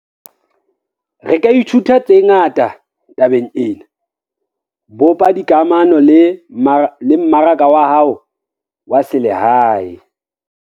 Re ka ithuta tse ngata tabeng ena - bopa dikamano le mmaraka wa hao wa selehae.